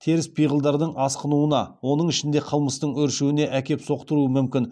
теріс пиғылдардың асқынуына оның ішінде қылмыстың өршуіне әкеп соқтыруы мүмкін